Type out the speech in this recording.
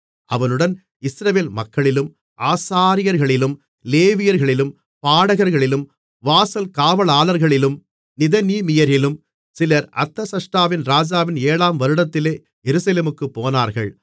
அவனுடன் இஸ்ரவேல் மக்களிலும் ஆசாரியர்களிலும் லேவியர்களிலும் பாடகர்களிலும் வாசல் காவலாளர்களிலும் நிதனீமியரிலும் சிலர் அர்தசஷ்டா ராஜாவின் ஏழாம் வருடத்திலே எருசலேமுக்குப் போனார்கள்